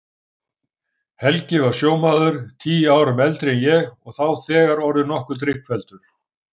Helgi var sjómaður, tíu árum eldri en ég og þá þegar orðinn nokkuð drykkfelldur.